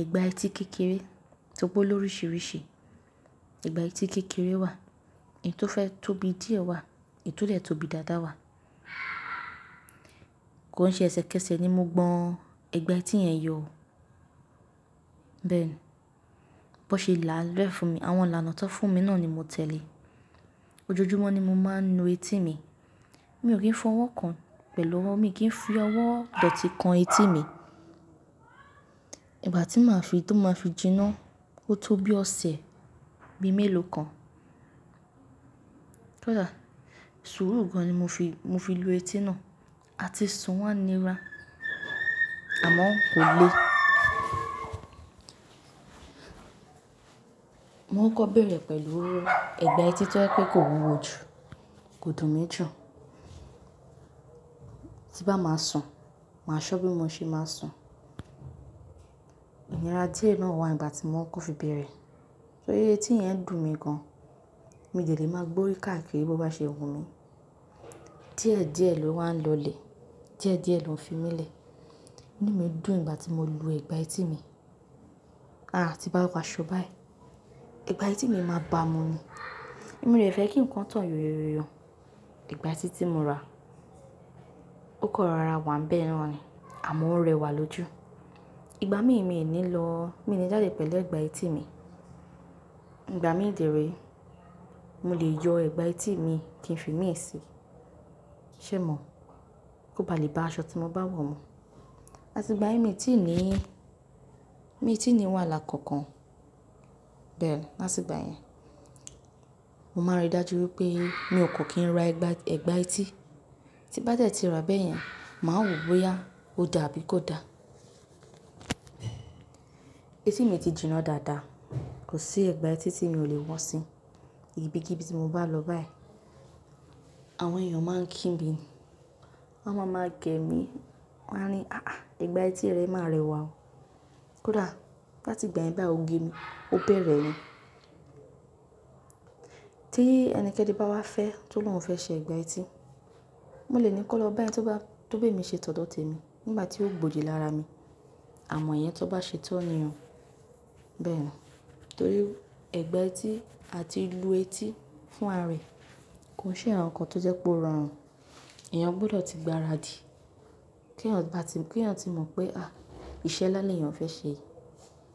ẹ̀gbà etí kékeré tóri pe ó lórisiríṣi. Ẹ̀gbà etí kékeré wà, èyí tó fẹ́ tóbi díẹ̀ wà, èyí tó le tóbi dáadáa wà. Kò ń ṣe ẹsẹkẹsẹ ni mo gbọ́n ẹ̀gbà etí yẹn yọ. Bẹ́ẹ̀ni, bó ṣe làalẹ́ fún mi, àwọn ìlànà tó fún mi náà ni mo tẹ̀lé. Ojoojúmọ́ ni mo máa ń nu etí mi. Mi ò kí ń fọwọ́ kan pẹ̀lú ọwọ́, mi kì í fi ọwọ́ dòtí kan etí mi. Ìgbà tí màá fi, tó máa fi jìnnà ó tó bí ọṣẹ̀ bí i mélòó kan. Kódà sùúrù gan-an ni mo fi lu etí náà, àti sùn wá nira, àmọ́ kò le. Mo kokọ́ bẹ̀rẹ̀ pẹ̀lú ọwọ́, ẹ̀gbà etí tó jẹ́ pé kò wúwo jù, kò dùn mi jù. Tí n bá máa sùn, màá ṣọ́ bí mo ṣe máa sùn. Ìnira díẹ̀ náà wà nígbà tí mo kokọ́ fi bẹ̀rẹ̀, torí etí yẹn dùn mi gan-an. Mo dè lè máa gbórí káàkiri bó bá ṣe wù mí. Díẹ̀díẹ̀ ló wà ń lọ lè, díẹ̀díẹ̀ ló ń fi mí le. Inú mi dùn ìgbà tí mo lo ẹ̀gbà etí mi. Àti báwà aṣọ báyìí, ẹ̀gbà etí mi máa bà mí mu. Mo de fẹ́ kí nǹkan tàn yóyoyóyọ. Ẹ̀gbà etí tí mo ra, ó kan rọra wà n bẹ́ẹ̀ naaní, àmọ́ ń rẹwà lójú. Ìgbà míì mi ò ní lọ, mi ò ní jáde pẹ̀lú ẹ̀gbà etí mi. Ìgbà mi dèré, mo lè yọ ẹ̀gbà etí mi kí n fi míì sí. Ṣé è mọ̀? Ko ba lè bá aṣọ tí mo bá wọ̀ mú. Áti ìgbà yìí mi ò tí ì ní, mi ò tí ì ní wàhálà kankan. Bẹ́ẹ̀ni, láti ìgbà yẹn, mo máa n rí i dájú pé mi ò kò kí n ra ẹ̀gbà etí. Tí bá dẹ́ ti rà bẹ́yẹn, màá wò ó bóyá ó da àbí kò da. Etí mi ti jìnnà dáadáa, kò sí ẹ̀gbà etí tí mi ò lè wọ́ sí. Ibikíbi tí mo bá lọ báyìí, àwọn èèyàn máa ń kí mi, wọ́n máa ń máa gẹ̀ mí, wọ́n máa ń ri, "àáà, ẹ̀gbà etí rẹ máa rẹwà o." Kódà láti ìgbà yìí bá o gé mi, ó bẹ̀rẹ̀ ni. Tí ẹnikẹ́ni bá wá fẹ́, tó lóhun fẹ ṣe ẹ̀gbà etí, mo lè ní kó lọ bá ẹni tó bá tó bé mi ṣe tọ̀dọ̀ témi nígbà tí ó gbòdi lára mi. Àmọ́ ìyẹn tó bá ṣe tán ni oo. Bẹ́ẹ̀ni, torí ẹ̀gbà etí, àti lu etí fún ara rẹ̀ kò ń ṣe àwọn nǹkan tó jẹ́ pé ó rọrùn. Eeyàn gbọdọ̀ ti gbáradì kí èèyàn, bá ti kí èèyàn ti mọ̀ pé, à, iṣẹ́ nlá lèèyàn fẹ́ ṣe.